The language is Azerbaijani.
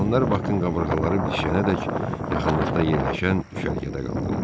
Onlar Bakın qabırğaları bitişənədək yaxınlıqda yerləşən düşərgədə qaldılar.